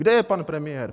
Kde je pan premiér?